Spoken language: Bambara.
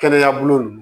Kɛnɛya bolo